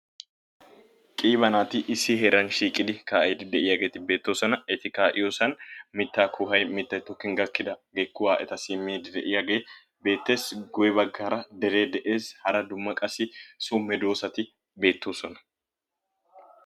Qiiba naati issi heeran shiiqidi kaa"iiddi de"iyaageeti beettoosona. Eti kaa"iyoosan mittaa kuway mittayi tokkin gakkidaagee kuwaa etassi immiiddi de"iyaagee beettees. Guyye baggaara deree de"ees. Hara dumma qassi so medoossati beettoosona.